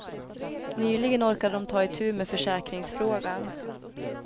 Nyligen orkade de ta itu med försäkringsfrågan.